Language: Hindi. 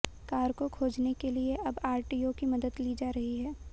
कार को खोजने के लिए अब आरटीओ की मदद ली जा रही है